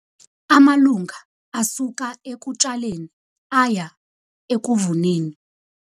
Amalunga asuka ekutshaleni aya ekuvuneni